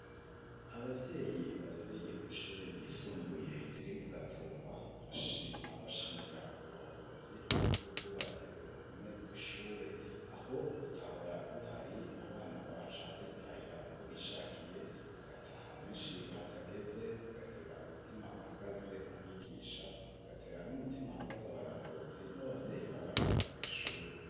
Abavyeyi barereye kw'ishure ryisumbuye riri mu gatumba barashima bashimira uburongozi y'uko bwubatse uruhome rw'ishure, aho rutahora ruhari abana baca bitahira uko bishakiye bagataha benshi hatageze bigatera umutima uhagaze abigisha ,bigatera n'umutima uhagaze abarongozi n'abavyeyi babarungitse kw'ishure.